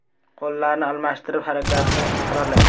Qo‘llarni almashtirib, harakatni takrorlang.